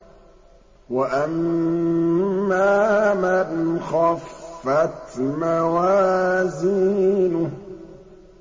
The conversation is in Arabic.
وَأَمَّا مَنْ خَفَّتْ مَوَازِينُهُ